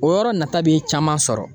O yɔrɔ nata be caman sɔrɔ.